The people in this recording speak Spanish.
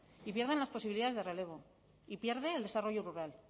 y pierden las posibilidades de relevo y pierde el desarrollo rural